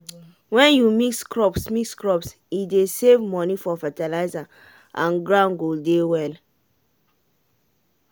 when you mix crops mix crops e dey save money for fertilizer and ground go dey well.